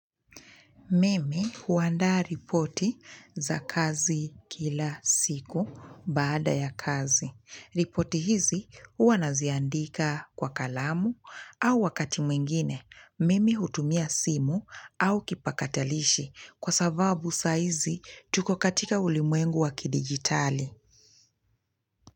Mimi huandaa ripoti za kazi kila siku baada ya kazi. Ripoti hizi hua naziandika kwa kalamu au wakati mwingine. Mimi hutumia simu au kipakatalishi kwa sababu sahizi tuko katika ulimwengu wa kidigitali.